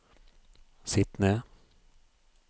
sitt ned